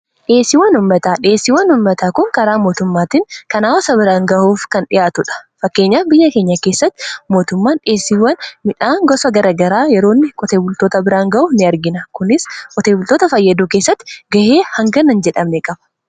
dheesiiwwan ummataa dheesiiwwan ummataa kun karaa mootummaattiin kanaa wasa biraan gahuuf kan dhi'aatu dha fakkeenya biyya keenya keessatti mootummaan dheesiiwwan midhaan gosa garagaraa yeroonni koteebultoota biraan ga'u n argina kunis koteebultoota fayyaduu keessatti ga'ee hanganan jedhamne qaba